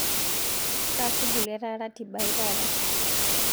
kaa shughuli etaa ratiba aai taata